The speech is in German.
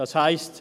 Das heisst: